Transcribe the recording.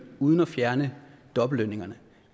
uden at fjerne dobbeltlønningerne